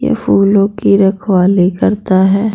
ये फूलों की रखवाली करता है।